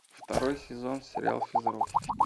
второй сезон сериал физрук